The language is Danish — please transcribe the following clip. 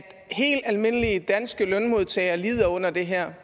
helt almindelige danske lønmodtagere lider under det her